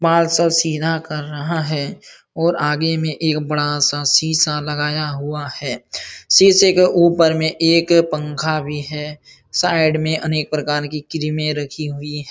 बाल सब सीधा कर रहा है और आगे में एक बड़ा शीशा लगाया हुआ है| शीशे के ऊपर में एक पंखा भी है साइड में अनेक प्रकार की क्रीमे रखी हुई है।